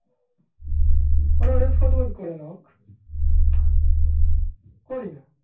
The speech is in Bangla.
অরে ওসব সদবদ করে নেওয়া হোক, না করিনা